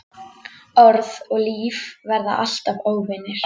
Orð og líf verða alltaf óvinir.